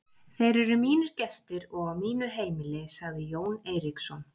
Þeir eru mínir gestir og á mínu heimili, sagði Jón Eiríksson.